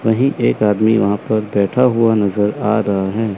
वहीं एक आदमी वहां पर बैठा हुआ नजर आ रहा है।